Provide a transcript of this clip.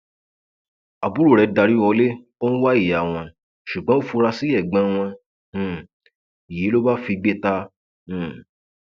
àbúrò rẹ darí wọlé ó ń wá ìyá wọn ṣùgbọn ó fura sí ẹgbọn wọn um yìí ló bá figbe ta um